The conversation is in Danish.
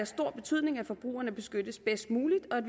stor betydning at forbrugerne beskyttes bedst muligt og at